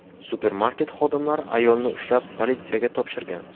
Supermarket xodimlari ayolni ushlab, politsiyaga topshirgan.